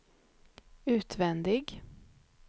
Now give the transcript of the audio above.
utvändig